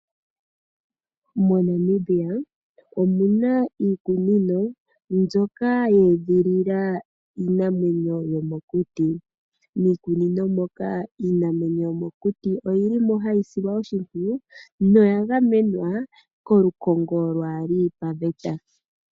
Mo Namibia omuna iikunino mbyoka yeedhilila iinamwenyo yomokuti. Miikunino moka iinamwenyo yomokuti oyilimo hayi silwa oshimpwiyu. Noyagamenwa kolukongo lwaali pa veta.